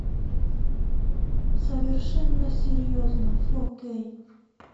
совершенно серьезно фо кей